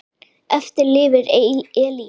Eftir lifir Elín.